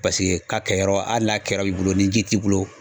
Paseke k'a kɛ yɔrɔ hali n'a kɛra b'i bolo ni ji t'i bolo